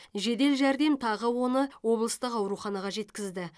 жедел жәрдем тағы оны облыстық ауруханаға жеткізді